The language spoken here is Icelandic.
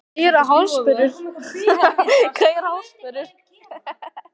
Hvað eru harðsperrur?